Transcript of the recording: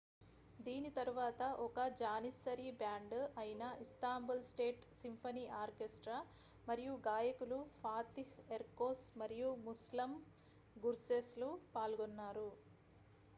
దీని తరువాత ఒక జానిస్సరీ బ్యాండ్ అయిన ఇస్తాంబుల్ స్టేట్ సింఫనీ ఆర్కెస్ట్రా మరియు గాయకులు ఫాతిహ్ ఎర్కోస్ మరియు ముస్లమ్ గుర్సేస్ లు పాల్గొన్నారు